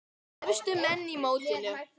Efstu menn í mótinu